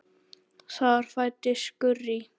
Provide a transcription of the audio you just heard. Þar fæddist Gurrý.